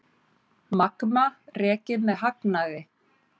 Magma rekið með hagnaði